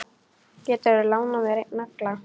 Geturðu lánað mér einn nagla.